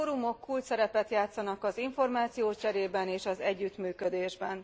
A fórumok kulcsszerepet játszanak az információcserében és az együttműködésben.